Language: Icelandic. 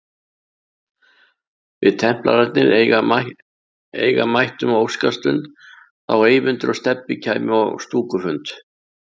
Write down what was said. Við templararnir eiga mættum óskastund þá Eyvindur og Stebbi kæmu á stúkufund